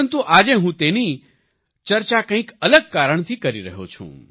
પરંતુ આજે હું તેની ચર્ચા કંઈક અલગ કારણથી કરી રહયો છું